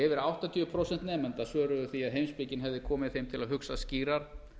yfir áttatíu prósent nemenda svöruðu því að heimspekin hefði komið þeim til að hugsa skýrar